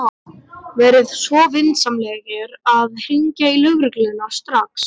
Verið svo vinsamlegir að hringja á lögregluna strax.